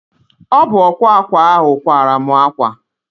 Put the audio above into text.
Ọ bụ ọkwa akwa ahụ kwara mụ akwa